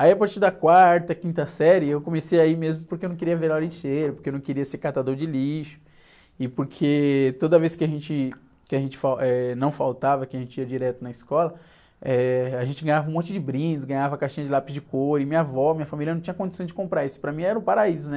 Aí a partir da quarta, quinta série eu comecei a ir mesmo porque eu não queria virar lixeiro, porque eu não queria ser catador de lixo e porque toda vez que a gente, que a gente fal, eh, não faltava, que a gente ia direto na escola, eh, a gente ganhava um monte de brindes, ganhava caixinha de lápis de couro e minha avó, minha família não tinha condição de comprar isso, para mim era um paraíso, né?